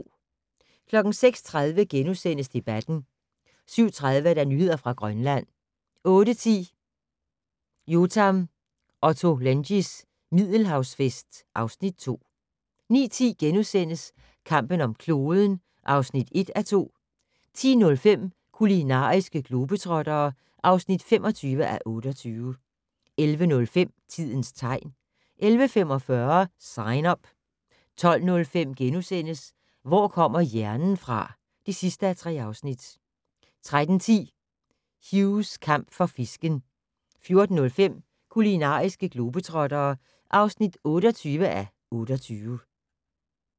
06:30: Debatten * 07:30: Nyheder fra Grønland 08:10: Yotam Ottolenghis Middelhavsfest (Afs. 2) 09:10: Kampen om kloden (1:2)* 10:05: Kulinariske globetrottere (25:28) 11:05: Tidens tegn 11:45: Sign Up 12:05: Hvor kommer hjernen fra? (3:3)* 13:10: Hughs kamp for fisken 14:05: Kulinariske globetrottere (28:28)